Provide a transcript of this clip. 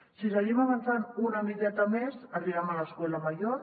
si seguim avançant una miqueta més arribem a l’escuela mayor